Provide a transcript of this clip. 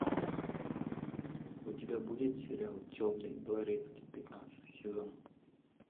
у тебя будет сериал темный дворецкий пятнадцатый сезон